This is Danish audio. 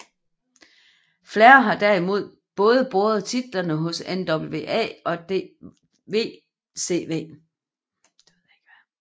Flair har derimod båret både titlerne hos NWA og WCW